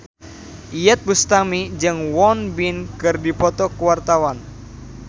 Iyeth Bustami jeung Won Bin keur dipoto ku wartawan